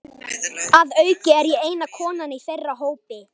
Að auki er ég eina konan í þeirra hópi.